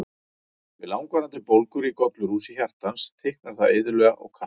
Við langvarandi bólgur í gollurhúsi hjartans, þykknar það iðulega og kalkar.